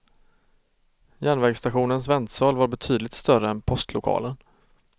Järnvägsstationens väntsal var betydligt större än postlokalen.